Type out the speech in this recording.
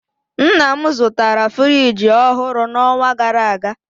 Nna m zụtara friji ọhụrụ n'ọnwa gara aga